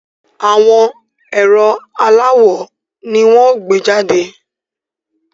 Àwọn ẹ̀rọ aláwò ni wọ́n ó gbé jàde